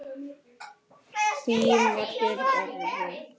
Við getum verið stolt.